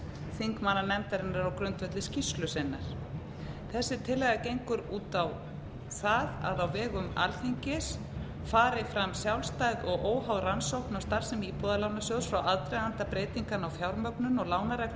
þingmannanefndarinnar á grundvelli skýrslu sinnar þessi tillaga gengur út á það að á vegum alþingis fari fram sjálfstæð og óháð rannsókn á starfsemi íbúðalánasjóðs frá aðdraganda breytinganna á fjármögnun og lánareglum